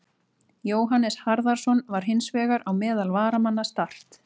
Jóhannes Harðarson var hins vegar á meðal varamanna Start.